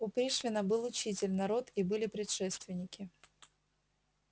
у пришвина был учитель народ и были предшественники